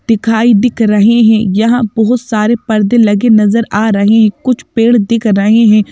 दिखाई दिख रहे हैं यहाँ बहुत सारे पर्दे लगे नजर आ रहे हैं कुछ पेड़ दिख रहे हैं।